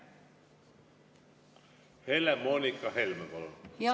Helle-Moonika Helme, palun!